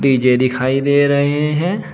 DJ दिखाई दे रहे हैं।